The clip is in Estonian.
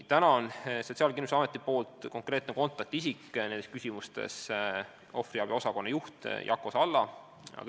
Praegu on Sotsiaalkindlustusametis konkreetne kontaktisik nendes küsimustes ohvriabi osakonna juht Jako Salla.